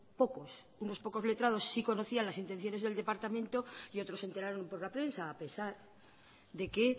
pocos letrados sí conocían las intenciones del departamento y otros se enteraron por la prensa a pesar de que